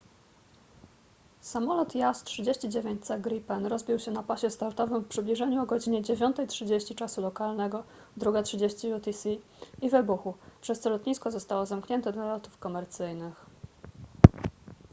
samolot jas 39c gripen rozbił się na pasie startowym w przybliżeniu o godz. 9:30 czasu lokalnego 02:30 utc i wybuchł przez co lotnisko zostało zamknięte dla lotów komercyjnych